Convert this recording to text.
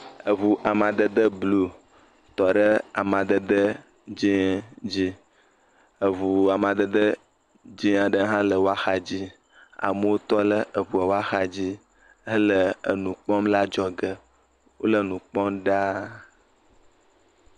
Eŋu amadede blu tɔ ɖe amadede dzie dzie. Eŋu amadede dze aɖe hã le wo axadzi. Amewo tɔ ɖe eŋua ƒe axadzi hele enu kpɔm le adzɔge. Wole nu kpɔm ɖaa.